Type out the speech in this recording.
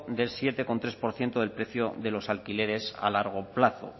del siete coma tres por ciento del precio de los alquileres a largo plazo